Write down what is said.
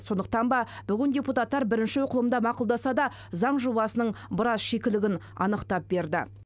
сондықтан ба бүгін депутаттар бірінші оқылымда мақұлдаса да заң жобасының біраз шикілігін анықтап берді